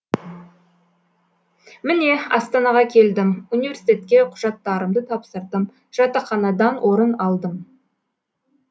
міне астанаға келдім университетке құжаттарымды тапсырдым жатақханадан орын алдым